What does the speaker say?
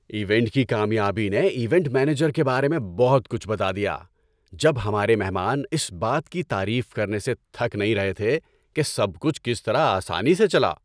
Event کی کامیابی نے ایونٹ مینیجر کے بارے میں بہت کچھ بتا دیا جب ہمارے مہمان اس بات کی تعریف کرنے سے تھک نہیں رہے تھے کہ سب کچھ کس طرح آسانی سے چلا۔